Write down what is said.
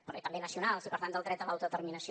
però també nacionals i per tant del dret a l’autodeterminació